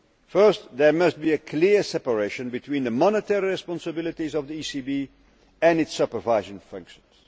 First, there must be a clear separation between the monetary responsibilities of the ECB and its supervisory functions.